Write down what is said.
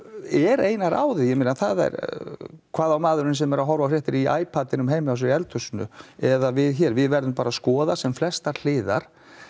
er eina ráðið hvað á maðurinn sem er að horfa á fréttirnar í ipadinum heima hjá sér í eldhúsinu eða við hér við verðum bara að skoða sem flestar hliðar